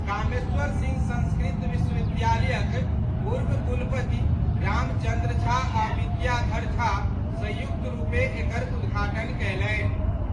कामेश्वर सिंह संस्कृत विश्वविद्यालयक पूर्व कुलपति रामचंद्र झा आ विद्याधर झा संयुक्त रूपे एकर उद्घाटन कयलनि।